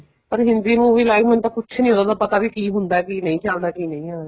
ਪਰ ਹਿੰਦੀ movie ਲਈ ਮੈਨੂੰ ਕੁੱਛ ਨੀ ਪਤਾ ਉਹਦਾ ਵੀ ਕੀ ਹੁੰਦਾ ਕੀ ਨਹੀਂ ਕੀ ਆਉਂਦਾ ਕੀ ਨਹੀਂ ਆਉਂਦਾ